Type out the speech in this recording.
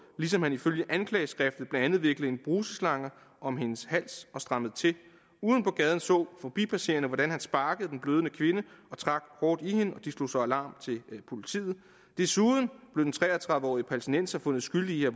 ligesom han ifølge anklageskriftet blandt andet viklede en bruserslange om hendes hals og strammede til ude på gaden så forbipasserende hvordan han sparkede den blødende kvinde og trak hårdt i hende de slog så alarm til politiet desuden blev den tre og tredive årige palæstinenser fundet skyldig i at